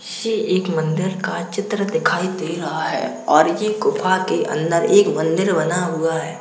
ये एक मंदिर का चित्र दिखाई दे रहा है और ये ग़ुफ़ा के अंदर एक मंदिर बना हुआ है।